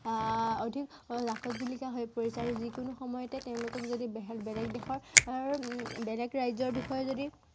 আহ অধিক জাকত জিলিকা হৈ পৰিছে আৰু যি কোনো সময়তে তেওঁলোকক যদি বেলেগ দেশৰ আহ বেলেগ ৰাজ্য়ৰ বিষয়ে যদি